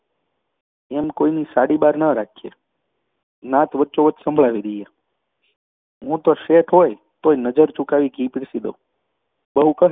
એમ કોઈની સાડીબાર ન રાખીએ. નાત વચ્ચોવચ સંભળાવી દઈએ. હું તો શેઠ હોય તોય નજર ચુકાવી ઘી પીરસી દઉં.